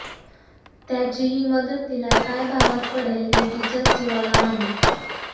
त्याची ही मदत तिला काय भावात पडेल हे तिच्याच जीवाला माहित